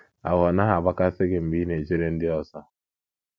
Ahụ́ ọ̀ naghị agbakasị gị mgbe ị na - echere ndị ọzọ?